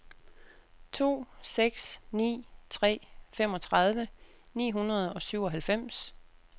to seks ni tre femogtredive ni hundrede og syvoghalvfems